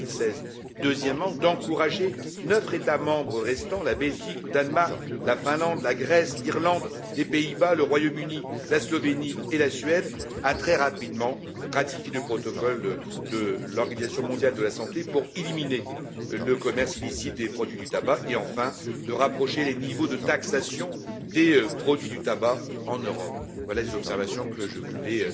2016. Deuxièmement, d'encourager neuf États membres restants la Belgique, le Danemark, la Finlande, la Grèce, l'Irlande, les Pays Bas, le Royaume Uni, la Slovénie et la Suède à ratifier très rapidement le protocole de l'Organisation mondiale de la santé pour éliminer le commerce illicite des produits du tabac, et, enfin, de rapprocher les niveaux de taxation des produits du tabac en Europe. Voilà les observations que je voulais